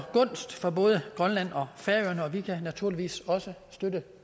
gunst for både grønland og færøerne og vi kan naturligvis også støtte